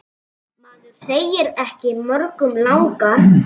Maður segir ekki mörgum langar.